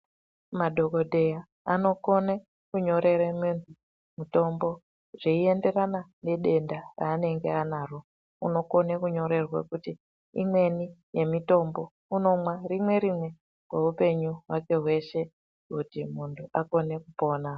Madhokodheya anokone kunyorere muntu mutombo zveienderana nedenda rananenge anaro unokone kunyorerwe kuti imweni yemitombo unomwa rimwe rimwe zveupenyu hwake hweshe kuti muntu akone kupona.